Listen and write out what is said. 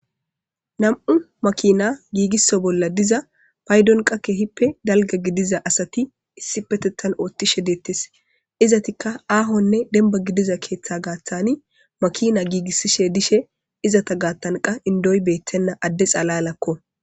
nam7u makina giigisso bolla diza paydon qakke hippe dalga gidiza asati issi petettan oothtishe deettis izatikka aahonne demba gidiza keeththa gaaththani makina giigissishe dishe izata gaattanqa indoy beettenna adde xalalakko